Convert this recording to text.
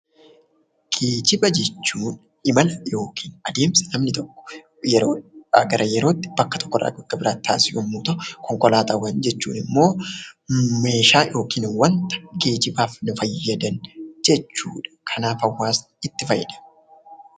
Geejjiba jechuun imala yookiin adeemsa namni tokko yeroo tokkoo yeroo biraatti, bakka tokkoo bakka biraatti taasisu yammuu ta'u; konkolaataawwan jechuun immoo meeshaa yookiin wanta geejjibaaf nu fayyadan jechuudha. Kanaaf hawwaasni itti fayyadama.